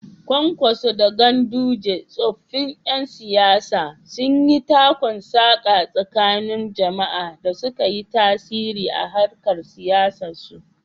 Kwankwaso da Ganduje, tsoffin ƴan siyasa, sun yi takun-saƙa tsakanin jama’a da suka yi tasiri a harkar siyasarsu.